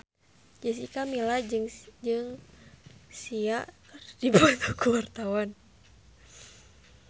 Jessica Milla jeung Sia keur dipoto ku wartawan